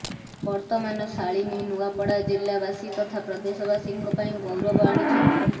ବର୍ତମାନ ଶାଳିନୀ ନୂଆପଡା ଜିଲ୍ଲା ବାସୀ ତଥା ପ୍ରଦେଶ ବାସୀଙ୍କ ପାଇଁ ଗୌରବ ଆଣିଛନ୍ତି